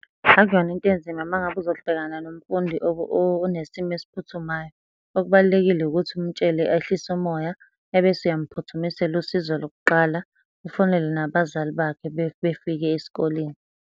Akuyona into enzima uma ngabe uzobhekana nomfundi onesimo esiphuthumayo. Okubalulekile ukuthi umutshele ehlise umoya, ebese uyamphuthumisela usizo lokuqala. Ufonele nabazali bakhe befike esikoleni.